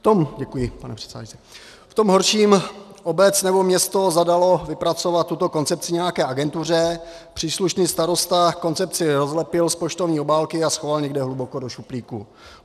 V tom horším obec nebo město zadaly vypracovat tuto koncepci nějaké agentuře, příslušný starosta koncepci rozlepil z poštovní obálky a schoval někde hluboko do šuplíku.